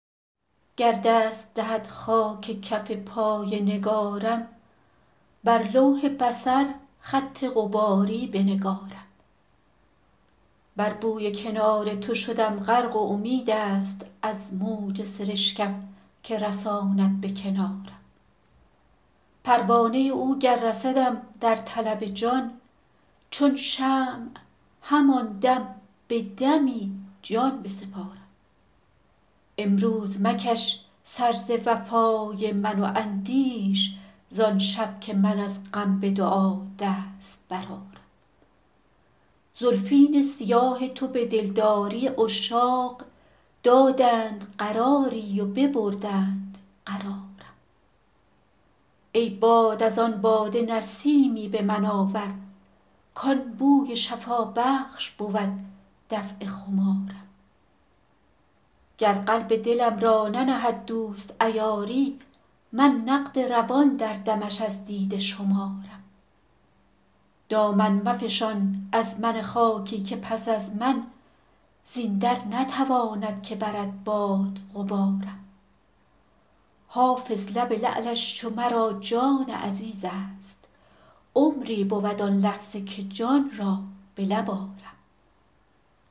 گر دست دهد خاک کف پای نگارم بر لوح بصر خط غباری بنگارم بر بوی کنار تو شدم غرق و امید است از موج سرشکم که رساند به کنارم پروانه او گر رسدم در طلب جان چون شمع همان دم به دمی جان بسپارم امروز مکش سر ز وفای من و اندیش زان شب که من از غم به دعا دست برآرم زلفین سیاه تو به دلداری عشاق دادند قراری و ببردند قرارم ای باد از آن باده نسیمی به من آور کان بوی شفابخش بود دفع خمارم گر قلب دلم را ننهد دوست عیاری من نقد روان در دمش از دیده شمارم دامن مفشان از من خاکی که پس از من زین در نتواند که برد باد غبارم حافظ لب لعلش چو مرا جان عزیز است عمری بود آن لحظه که جان را به لب آرم